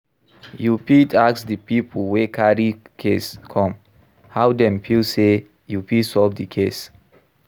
You fit ask di pipo wey carry case come how dem feel sey you fit solve do case